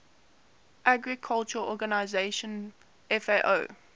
agriculture organization fao